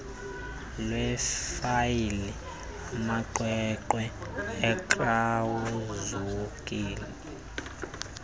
lwefayile amaqweqwe akrazukileyo